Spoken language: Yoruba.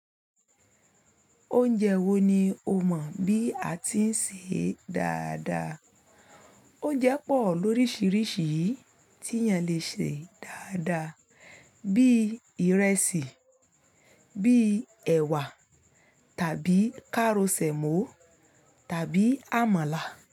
Oúnjẹ wo ni o mọ̀ bí a ti ń sè é dáadáa? Ounjẹ́ pọ̀ lóríṣiríṣi tí ènìyàn lè sè é dáadáa bíi ìrẹsì, bíi ẹ̀wà tàbí káró ṣemó tàbí àmàlà.